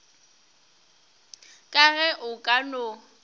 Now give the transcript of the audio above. ka ge o ka no